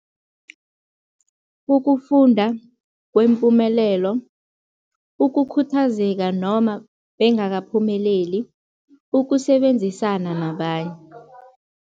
Ukufunda kwempumelelo, ukukhuthazeka noma bengakaphumeleni, ukusebenzisana nabanye.